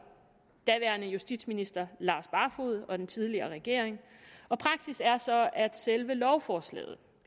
daværende justitsminister lars barfoed og den tidligere regering praksis er så at selve lovforslaget